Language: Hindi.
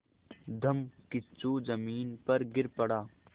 धम्मकिच्चू ज़मीन पर गिर पड़ा